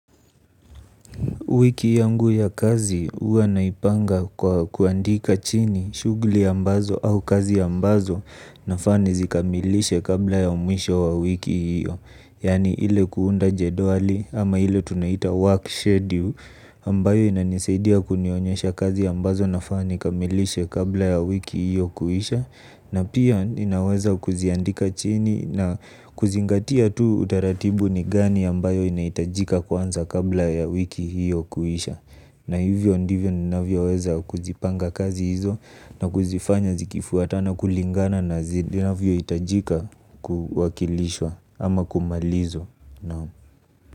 Wiki yangu ya kazi huwa naipanga kwa kuandika chini shughuli ambazo au kazi ambazo nafaa nizikamilishe kabla ya mwisho wa wiki hiyo. Yani ile kuunda jedwali ama ile tunaita work schedule ambayo inanisaidia kunionyesha kazi ambazo nafaa ni kamilishe kabla ya wiki hiyo kuisha. Na pia ninaweza kuziandika chini na kuzingatia tu utaratibu ni gani ambayo inahitajika kuanza kabla ya wiki hiyo kuisha. Na hivyo ndivyo ninavyo weza kuzipanga kazi hizo na kuzifanya zikifuatana kulingana na zinavyo hitajika kuwakilishwa ama kumalizwa.